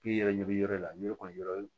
K'i yɛrɛ yɔrɔ la ɲɔ kɔni yɔrɔ